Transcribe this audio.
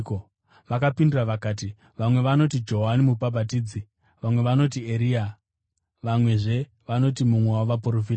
Vakapindura vakati, “Vamwe vanoti Johani Mubhabhatidzi; vamwe vanoti Eria; vamwezve vanoti mumwe wavaprofita.”